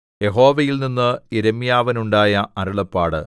യഹോവയിൽനിന്ന് യിരെമ്യാവിനുണ്ടായ അരുളപ്പാട്